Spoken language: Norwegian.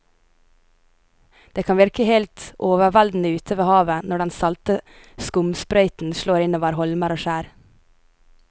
Det kan virke helt overveldende ute ved havet når den salte skumsprøyten slår innover holmer og skjær.